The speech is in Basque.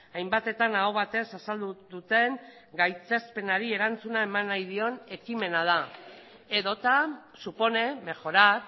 hainbatetan aho batez azaldu duten gaitzespenari erantzuna eman nahi dion ekimena da edota supone mejorar